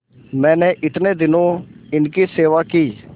मैंने इतने दिनों इनकी सेवा की